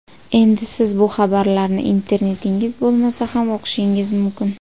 Endi siz bu xabarlarni internetingiz bo‘lmasa ham o‘qishingiz mumkin.